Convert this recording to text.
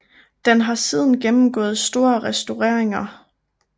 Den har siden gennemgået store restaureringer